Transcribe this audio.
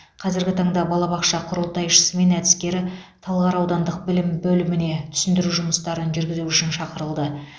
қазіргі таңда балабақша құрылтайшысы мен әдіскері талғар аудандық білім бөліміне түсіндіру жұмыстарын жүргізу үшін шақырылды